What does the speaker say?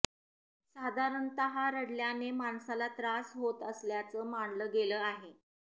साधारणतः रडल्याने माणसाला त्रास होत असल्याचं मानलं गेलं आहे